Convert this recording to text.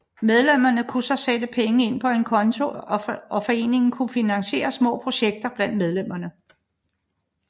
Medlemmerne kunne så sætte penge ind på en konto og foreningen kunne finansiere små projekter blandt medlemmerne